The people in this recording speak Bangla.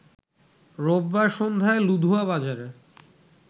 রোববার সন্ধ্যার লুধুয়া বাজারে